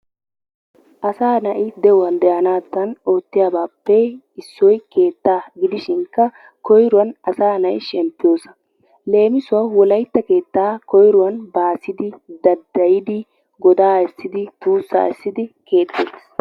Asaa na'i de'uwan de'anaassi ootiyaabaappe issoy keettaa gidishinkka koyruwan asa na'i shemppiyoosaa. leemissuwawu woaytta keettaa koyruwan baassidi daddayidi godaa essidi tuusaa essidi keexeetees.